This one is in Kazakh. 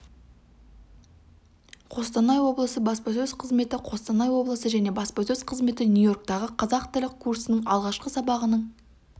қостанай облысы және баспасөз қызметі қостанай облысы және баспасөз қызметі нью-йорктағы қазақ тілі курсының алғашқы сабағының